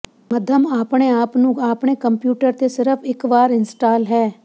ਮੱਧਮ ਆਪਣੇ ਆਪ ਨੂੰ ਆਪਣੇ ਕੰਪਿਊਟਰ ਤੇ ਸਿਰਫ ਇਕ ਵਾਰ ਇੰਸਟਾਲ ਹੈ